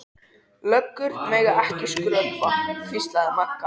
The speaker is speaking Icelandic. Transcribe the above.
Löggur mega ekki skrökva, hvíslaði Magga.